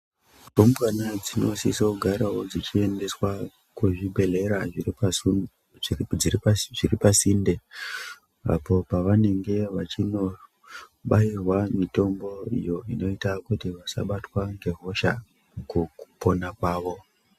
Rumbwana dzinosisogarawo dzichiendeswa kuzvibhedhlera zviripasinde, apo pavanenge vechinobayirwa mitomboyo inoita kuti vasabatwa ngehosha mukupona kwavo.